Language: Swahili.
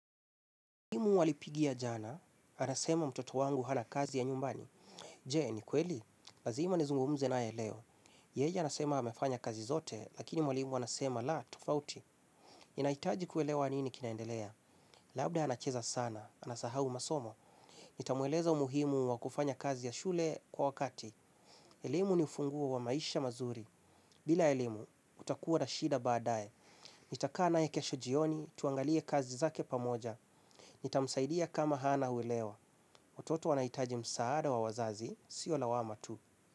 Mwalimu alipigia jana, anasema mtoto wangu hana kazi ya nyumbani. Je, ni kweli? Lazima nizungumze nae leo. Yeye anasema amefanya kazi zote, lakini mwalimu anasema, la, tufauti. Ninaitaji kuelewa nini kinaendelea? Labda anacheza sana, anasahau masomo. Nitamweleza umuhimu wa kufanya kazi ya shule kwa wakati. Elimu ni funguo wa maisha mazuri. Bila elimu, kutakua na shida baadae. Nitakaa naye kesho jioni, tuangalie kazi zake pamoja. Nitamsaidia kama hana uelewa. Watoto wanaitaji msaada wa wazazi, siyo lawama tu.